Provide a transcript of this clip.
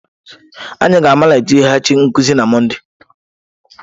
Anyị ga-amaliteghachi nkuzi na Mọnde..